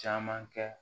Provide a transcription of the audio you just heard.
Caman kɛ